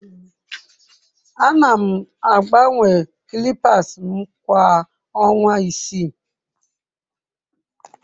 Ana m agbanwe clippers m kwa ọnwa isii.